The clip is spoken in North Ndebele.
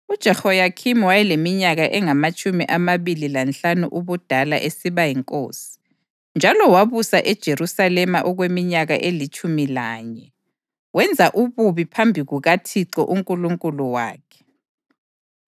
UJehoyakhimi wayeleminyaka engamatshumi amabili lanhlanu ubudala esiba yinkosi, njalo wabusa eJerusalema okweminyaka elitshumi lanye. Wenza ububi phambi kukaThixo uNkulunkulu wakhe.